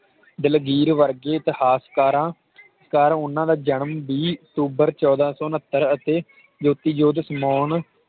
ਦਲਗੀਰ ਵਰਗੇ ਇਤਿਹਾਸਕਾਰਾਂ ਘਰ ਓਹਨਾ ਦਾ ਜਨਮ ਵੀਹ ਅਕਤੂਬਰ ਚੋਦਹ ਸੌ ਉਨ੍ਹਤਰ ਅਤੇ ਜੋਤਿ ਜੋਤ ਸਮਾਉਣ